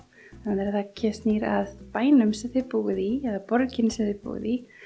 það snýr að bænum sem þið búið í eða borginni sem þið búið í